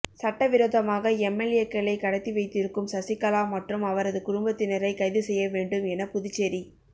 சட்ட விரோதமாக எம்எல்ஏக்களை கடத்தி வைத்திருக்கும் சசிகலா மற்றும் அவரது குடும்பத்தினரை கைது செய்ய வேண்டும் என புதுச்சேரி